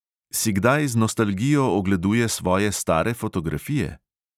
Si kdaj z nostalgijo ogleduje svoje stare fotografije?